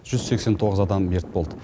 жүз сексен тоғыз адам мерт болды